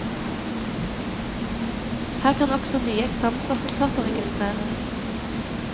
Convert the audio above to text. Her kan også nye eksamensresultater registreres.